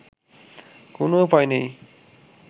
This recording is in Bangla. কোনো উপায় নেই